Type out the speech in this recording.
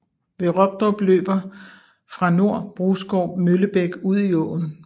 Ved Robdrup løber fra nord Brusgård Møllebæk ud i åen